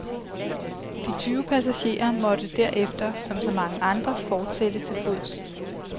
De tyve passagerer måtte derefter, som så mange andre fortsætte til fods.